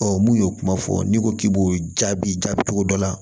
Ɔ mun y'o kuma fɔ n'i ko k'i b'o jaabi jaabi cogo dɔ la